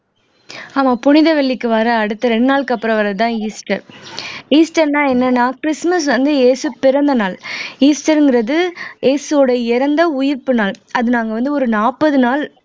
ஆமா புனித வெள்ளிக்கு வர்ற அடுத்த ரெண்டு நாளுக்கு அப்புறம் வர்றதுதான் ஈஸ்டர் ஈஸ்டர்ன்னா என்னன்னா கிறிஸ்துமஸ் வந்து இயேசு பிறந்த நாள் ஈஸ்டர்ங்கிறது இயேசுவோட இறந்த உயிர்ப்பு நாள் அது நாங்க வந்து ஒரு நாப்பது நாள்